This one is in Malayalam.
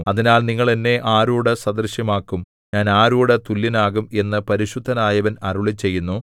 അതിനാൽ നിങ്ങൾ എന്നെ ആരോട് സദൃശമാക്കും ഞാൻ ആരോട് തുല്യനാകും എന്നു പരിശുദ്ധനായവൻ അരുളിച്ചെയ്യുന്നു